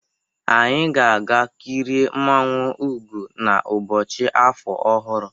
Anyị ga-aga kị rịe mmụọnwu Ụgo n'ụbọchị afọ ọhụrụ